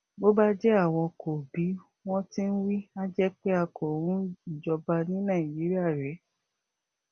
bó bá jẹ àwọn kò bí wọn ti ń wí a jẹ pé a kò ń ìíjọba ní nàìjíríà rèé